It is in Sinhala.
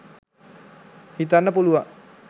හිතන්න පුළුවන්.